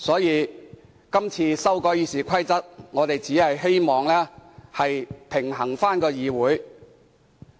因此，今次修改《議事規則》，我們只是希望議會能夠回復平衡。